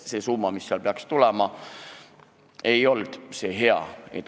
See summa, mis sealt pidi tulema, ei olnud hea.